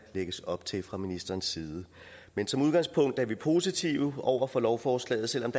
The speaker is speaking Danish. lægges op til fra ministerens side men som udgangspunkt er vi positive over for lovforslaget selv om